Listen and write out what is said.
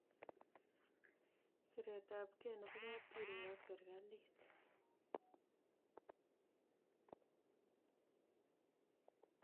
Siret ab ge nebo kapkiruok ak serikalit.